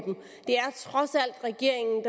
regeringen